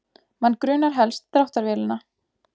Mann grunar helst dráttarvélina